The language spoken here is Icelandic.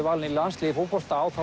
valinn í landsliðið í fótbolta á